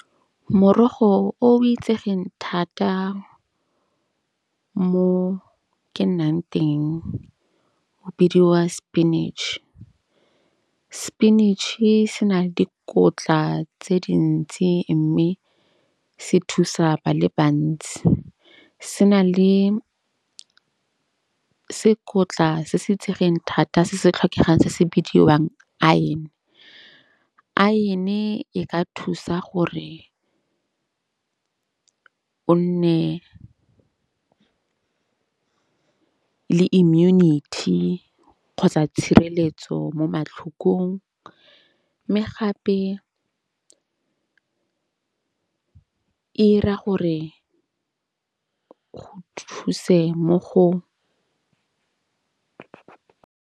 Morogo o itsegeng thata mo ke nnang teng, o bidiwa spinach. Spinach-e se na le dikotla tse dintsi. Mme se thusa ba le bantsi. Se na le sekotla se se itsegeng thata se se tlhokegang se se bidiwang iron. Iron-e e ka thusa gore o nne le immunity kgotsa tshireletso mo matlhokong. Mme gape e 'ira gore thuse mo go.